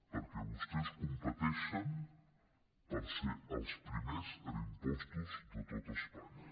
perquè vostès competeixen per ser els primers en impostos de tot espanya